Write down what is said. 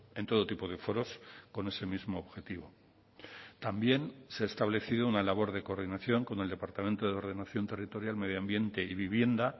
en todo tipo de foros con ese mismo objetivo también se ha establecido una labor de coordinación con el departamento de ordenación territorial medioambiente y vivienda